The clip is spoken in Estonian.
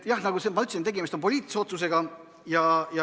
Jah, nagu ma ütlesin, tegemist on poliitilise otsusega.